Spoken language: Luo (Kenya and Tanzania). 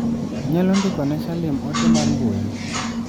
Inyalo ndiko ne Salim ote mar mbui?